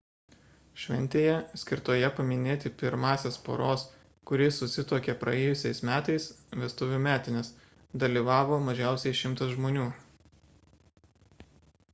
šventėje skirtoje paminėti pirmąsias poros kuri susituokė praėjusiais metais vestuvių metines dalyvavo mažiausiai 100 žmonių